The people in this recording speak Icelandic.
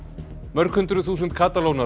mörg hundruð þúsund